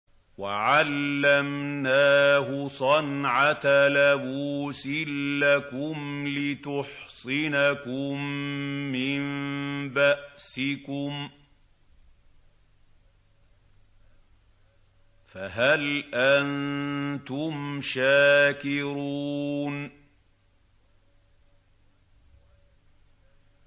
وَعَلَّمْنَاهُ صَنْعَةَ لَبُوسٍ لَّكُمْ لِتُحْصِنَكُم مِّن بَأْسِكُمْ ۖ فَهَلْ أَنتُمْ شَاكِرُونَ